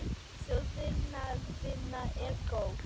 Sú vinna er góð.